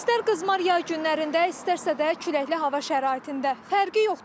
İstər qızmar yay günlərində, istərsə də küləkli hava şəraitində fərqi yoxdur.